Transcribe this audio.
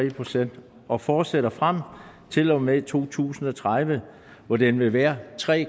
procent og fortsætter frem til og med to tusind og tredive hvor den vil være tre